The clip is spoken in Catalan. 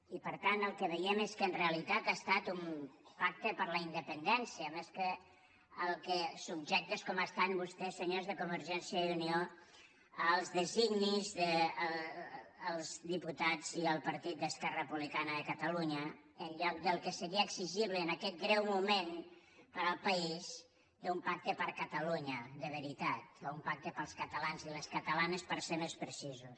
i per tant el que veiem és que en realitat ha estat un pacte per la independència subjectes com estan vostès senyors de convergència i unió als designis dels diputats i el partit d’esquerra republicana de catalunya en lloc del que seria exigible en aquest greu moment per al país un pacte per catalunya de veritat o un pacte pels catalans i les catalanes per ser més precisos